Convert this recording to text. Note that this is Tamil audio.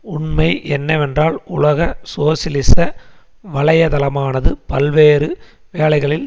உண்மை என்னவென்றால் உலக சோசியலிச வலையதளமானது பல்வேறு வேளைகளில்